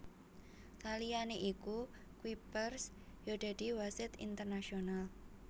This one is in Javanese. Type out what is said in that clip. Saliyané iku Kuipers ya dadi wasit internasional